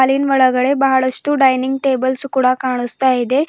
ಹಾಲಿನ್ ಒಳಗಡೆ ಬಹಳಷ್ಟು ಡೈನಿಂಗ್ ಟೇಬಲ್ಸ್ ಕೂಡ ಕಾಣುಸ್ತಾ ಇದೆ.